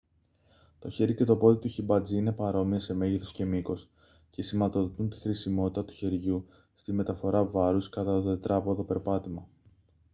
το χέρι και το πόδι του χιμπατζή είναι παρόμοια σε μέγεθος και μήκος και σηματοδοτούν τη χρησιμότητα του χεριού στη μεταφορά βάρους κατά το τετράποδο περπάτημα